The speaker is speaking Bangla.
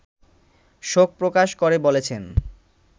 শোক প্রকাশ করে বলেছেন